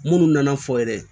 Munnu nana fɔ yɛrɛ